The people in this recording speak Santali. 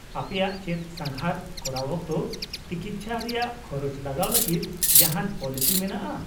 -ᱟᱯᱮᱭᱟᱜ ᱪᱮᱫ ᱥᱟᱸᱜᱷᱟᱨ ᱠᱚᱨᱟᱣ ᱚᱠᱛᱚ ᱛᱤᱠᱤᱪᱪᱷᱟ ᱨᱮᱭᱟᱜ ᱠᱷᱚᱨᱚᱪ ᱪᱟᱞᱟᱣ ᱞᱟᱜᱤᱫ ᱡᱟᱦᱟᱱ ᱯᱚᱞᱤᱥᱤ ᱢᱮᱱᱟᱜᱼᱟ ?